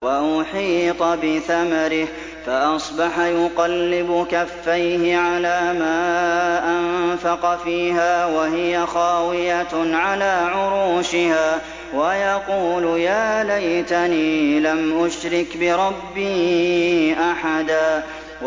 وَأُحِيطَ بِثَمَرِهِ فَأَصْبَحَ يُقَلِّبُ كَفَّيْهِ عَلَىٰ مَا أَنفَقَ فِيهَا وَهِيَ خَاوِيَةٌ عَلَىٰ عُرُوشِهَا وَيَقُولُ يَا لَيْتَنِي لَمْ أُشْرِكْ بِرَبِّي أَحَدًا